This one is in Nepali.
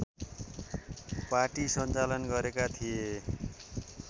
पाटी सञ्चालन गरेका थिए